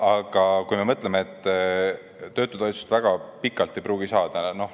Aga kui me mõtleme, et töötutoetust väga pikalt ei pruugi saada.